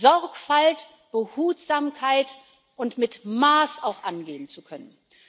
Sorgfalt, Behutsamkeit und mit Maß auch angehen zu können.